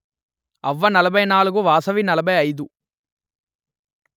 అవ్వ నలభై నాలుగు వాసవి నలభై అయిదు